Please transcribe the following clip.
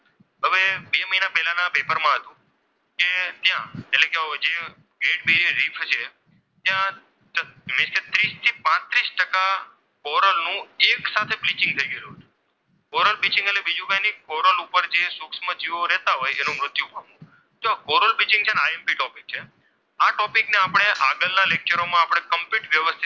Coral નું એક સાથે બ્લીચિંગ થઈ ગયેલું હોય છે. કોરલ બ્લીચિંગ એટલે બીજું કાંઈ નહીં કોરલ ઉપર જે સૂક્ષ્મ જીવો રહેતા હોય તેમનું મૃત્યુ પામ છે. ને તે imptopic છે આ topic ને આપણે આગળના લેક્ચરોમાં કમ્પ્લીટલી,